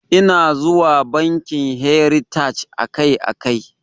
Ina zuwa bankin heritaj akai akai.